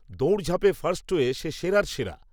দৌড়ঝাঁপে first হয়ে সে সেরার সেরা